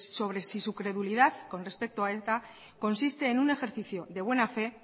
sobre si su credulidad con respecto a eta consiste en un ejercicio de buena fe